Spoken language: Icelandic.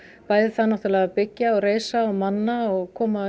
bæði það náttúrulega að byggja og reisa og manna og koma